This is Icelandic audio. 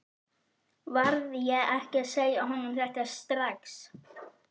Varð ég ekki að segja honum þetta strax?